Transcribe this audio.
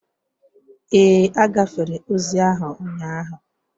Ee, agafere ozi ahụ ụnyaahụ